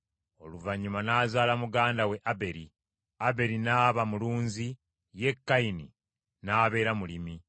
Oluvannyuma n’azaala muganda we Aberi. Aberi n’aba mulunzi, ye Kayini n’abeera mulimi.